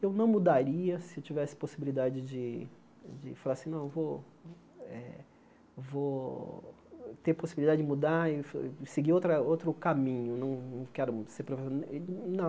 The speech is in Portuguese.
Eu não mudaria se tivesse possibilidade de de falar assim, não, vou eh vou ter possibilidade de mudar e fa e seguir outra outro caminho, não não quero ser profe eh, não.